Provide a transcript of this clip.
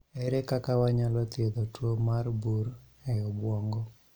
Ere kaka wanyalo thiedho tuo mar bur e obwongo?